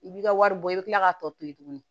I b'i ka wari bɔ i bɛ tila ka tɔ to yen tuguni